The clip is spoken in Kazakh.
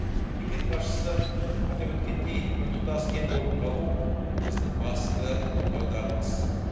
мемлекет басшысы атап өткендей біртұтас ел болып қалу біздің басты бағдарымыз